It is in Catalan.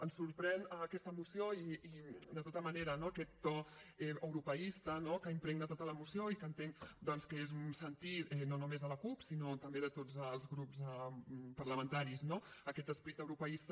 ens sorprèn en aquesta moció de tota manera aquest to europeista no que impregna tota la moció i que entenc que és un sentir no només de la cup sinó també de tots els grups parlamentaris no aquest esperit europeista